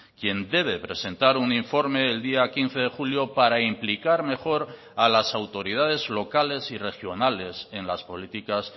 quien debe presentar un informe el día quince de julio para implicar mejor a las autoridades locales y regionales en las políticas